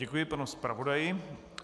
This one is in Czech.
Děkuji panu zpravodaji.